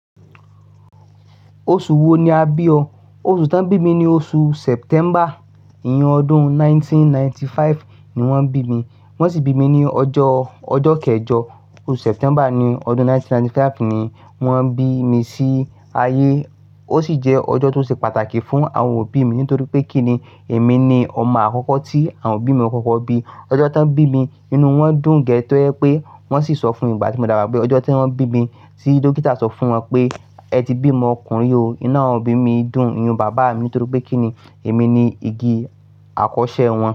Oṣù wo ni a bí ọ? Oṣù tí wón bí mi ni oṣù September. Iyen ọdún ẹgbẹ̀rún kan ó lé ọgọ́rùn-ún mẹ́sàn-án ó lé àrúndínlọ́gọ́rùn-ún ni wón bí mi. Wọ́n sì bí mi ní ọjọ́, ọjọ́ kẹjọ oṣù September ní ọdún ẹgbẹ̀rún kan ó lé ọgọ́rùn-ún mẹ́sàn-án ó lé àrúndínlọ́gọ́rùn-ún ni wón bí mi sí ayé. Ó sì jẹ́ ọjọ́ tó ṣe pàtàkì fún àwọn òbí mi nítorí pé kíni èmi ni ọmọ àkọ́kọ́ tí àwọn òbí mi kókó bí. Ọjọ́ tí wón bí mi inú wọn dùn gé tó ẹ́ pé wọ́n sì sọ fún mi ìgbà tí mo dàgbà pé ọjọ́ tí wón bí mi, tí dókítà sọ fún wọn pé ẹ ti bí ọmọ ọkùnrin o. Inú àwọn òbí mi dùn, inu bàbá mi dun, nítorí pé kíni èmi ni igi àkọ́ṣẹ́ wọn.